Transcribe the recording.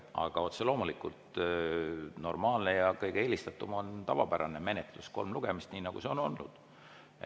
Aga otse loomulikult, normaalne ja kõige eelistatum on tavapärane menetlus: kolm lugemist, nii nagu see on olnud.